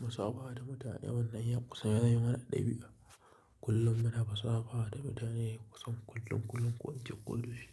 Munsaba da mutane wannan yan kusa yana yi mana ɗabi'a. Kullum muna gaisawa da mutane kusan kullum, kullum, ƙoƙanci ƙullushi,